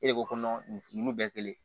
E de ko nin nunnu bɛɛ kelen